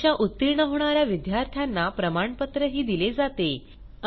परीक्षा उत्तीर्ण होणा या विद्यार्थ्यांना प्रमाणपत्रही दिले जाते